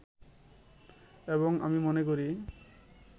এবং আমি মনে করি